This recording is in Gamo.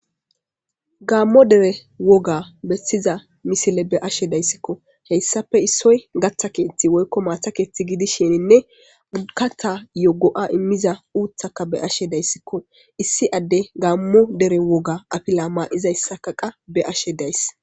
Gaammo dere woga bessiza misile be ashe dayssikko heyssafe issoy gatha keethti woykko maatakethti gidisheninne ukata yogo'a immiza uuthaka be ashe dayssikko issi adde gaammo dere woga apila maa'izayssakaqa be ashe days